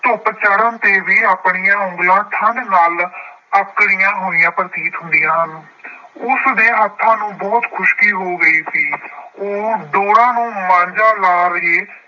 ਧੁੱਪ ਚੜ੍ਹਨ ਤੇ ਵੀ ਆਪਣੀਆਂ ਉਂਗਲਾਂ ਠੰਡ ਨਾਲ ਆਕੜੀਆਂ ਹੋਈਆਂ ਪ੍ਰਤੀਤ ਹੁੰਦੀਆਂ ਹਨ। ਉਸਦੇ ਹੱਥਾਂ ਨੂੰ ਬਹੁਤ ਖੁਸ਼ਕੀ ਹੋ ਗਈ ਸੀ। ਉਹ ਡੋਰਾਂ ਨੂੰ ਮਾਂਝਾ ਲਾ ਰਹੇ